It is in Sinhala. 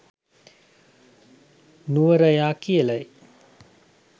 නුවරයා කියලයි.